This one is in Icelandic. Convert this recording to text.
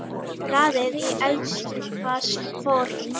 Raðið í eldfast form.